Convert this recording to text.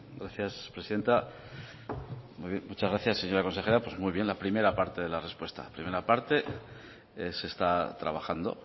gracias presidenta muchas gracias señora consejera muy bien la primera parte de la respuesta primera parte es que se está trabajando